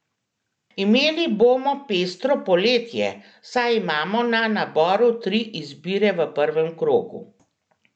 Imeli bomo pestro poletje, saj imamo na naboru tri izbire v prvem krogu.